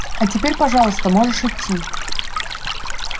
а теперь пожалуйста можешь идти